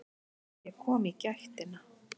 Ég kom í gættina.